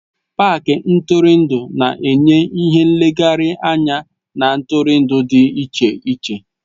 Pááki ntụrụndụ na-enye ìhè nlegharị anya na ntụrụndụ dị iche iche